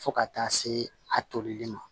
Fo ka taa se a tolili ma